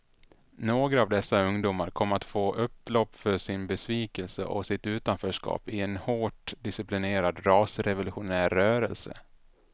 Några av dessa ungdomar kom att få utlopp för sin besvikelse och sitt utanförskap i en hårt disciplinerad rasrevolutionär rörelse.